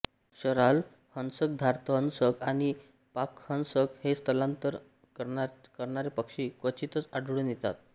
शराल हंसकधार्तहंसकआणि पाकहंसक हे स्थलांतर करणारे पक्षी क्वचितच आढळून येतात